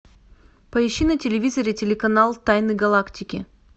поищи на телевизоре телеканал тайны галактики